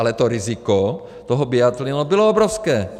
Ale to riziko toho biatlonu bylo obrovské.